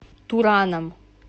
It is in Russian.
тураном